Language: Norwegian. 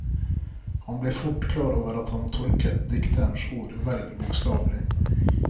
Han blir fort klar over at han har tolket dikterens ord vel bokstavelig.